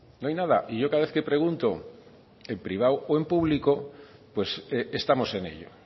no hay nada y yo cada vez que pregunto en privado o en público pues estamos en ello